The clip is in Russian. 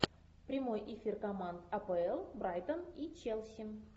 прямой эфир команд апл брайтон и челси